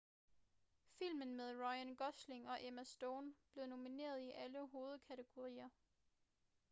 filmen med ryan gosling og emma stone blev nomineret i alle hovedkategorier